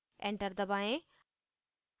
enter दबाएँ